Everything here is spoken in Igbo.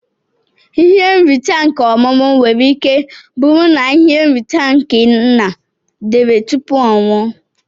Ihe nrita nke ọmumu nwere ike buru na ihe nrita nke nna dere tupu ọnwụọ.